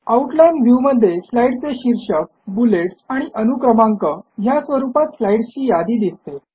outline व्ह्यूमधे स्लाईडचे शीर्षक बुलेटस् आणि अनुक्रमांक ह्या स्वरूपात स्लाईड्सची यादी दिसते